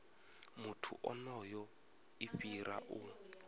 muthu onoyo i fhira u